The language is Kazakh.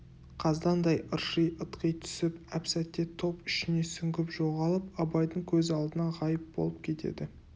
қаздаңдай ырши ытқи түсіп әп-сәтте топ ішіне сүңгіп жоғалып абайдың көз алдынан ғайып болып кетеді